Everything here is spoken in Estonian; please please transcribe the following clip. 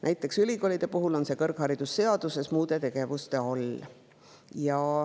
Näiteks ülikoolide puhul on see kõrgharidusseaduses muude tegevuste all.